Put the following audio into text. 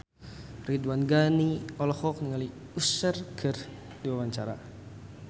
Ridwan Ghani olohok ningali Usher keur diwawancara